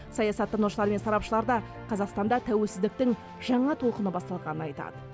саясаттанушылар мен сарапшылар да қазақстанда тәуелсіздіктің жаңа толқыны басталғанын айтады